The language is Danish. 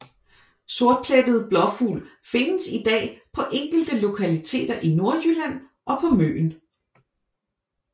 Sortplettet blåfugl findes i dag på enkelte lokaliter i Nordjylland og på Møn